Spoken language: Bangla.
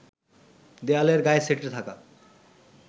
দেয়ালের গায়ে সেঁটে থাকা